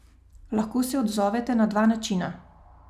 Lahko se odzovete na dva načina.